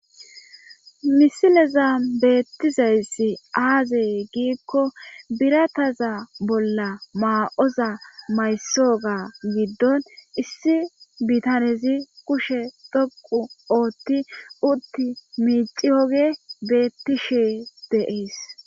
misileza beettizayssi aazey giikko birataza bolla maa7oza maysooga giddon issi bitanezi kushe dhoqu ootti utti miiciyoge beettishe deees